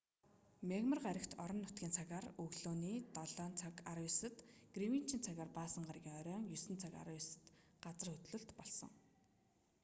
мягмар гаригт орон нутгийн цагаар өглөөний 07:19-д гринвичийн цагаар баасан гарагийн оройн 09:19-д газар хөдлөлт болсон